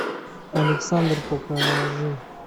александр покажи